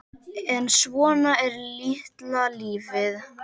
En svona er litla lífið.